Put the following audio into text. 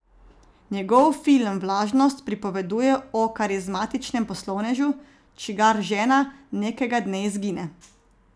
Njegov film Vlažnost pripoveduje o karizmatičnem poslovnežu, čigar žena nekega dne izgine.